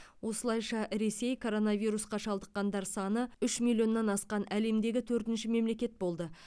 осылайша ресей коронавирусқа шалдыққандар саны үш миллионнан асқан әлемдегі төртінші мемлекет болды